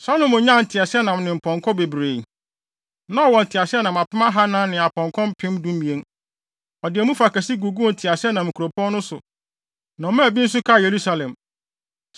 Salomo nyaa nteaseɛnam ne apɔnkɔ bebree. Na ɔwɔ nteaseɛnam apem ahannan ne apɔnkɔ mpem dumien. Ɔde emu fa kɛse guguu nteaseɛnam nkuropɔn no so na ɔmaa bi nso kaa Yerusalem.